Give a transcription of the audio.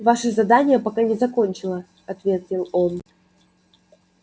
ваше задание пока не закончено ответил он